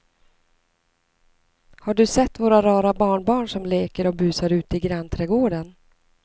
Har du sett våra rara barnbarn som leker och busar ute i grannträdgården!